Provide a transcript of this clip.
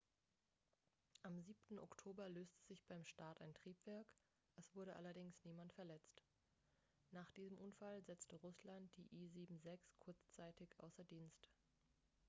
am 7. oktober löste sich beim start ein triebwerk es wurde allerdings niemand verletzt nach diesem unfall setzte russland die il-76 kurzzeitig außer dienst